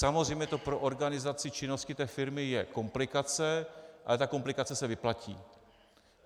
Samozřejmě to pro organizaci činnosti té firmy je komplikace, ale ta komplikace se vyplatí.